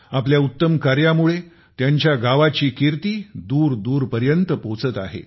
आपल्या उत्तम कार्यामुळे त्यांच्या गावाची कीर्ती दूरदूर पर्यंत पोहोचत आहे